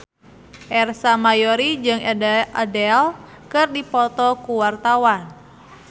Ersa Mayori jeung Adele keur dipoto ku wartawan